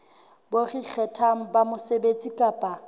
bo ikgethang ba mosebetsi kapa